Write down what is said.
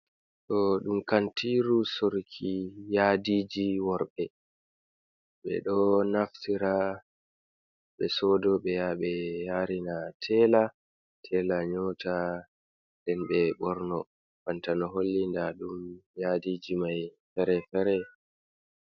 Ɗo ɗum kantiru sorki yadiji worɓe. Ɓeɗo naftira ɓe sodo ɓeya ɓe yarina tela, tela nyoota nden ɓe ɓorno banta no holli nda ɗum yadiji mai fere-fere.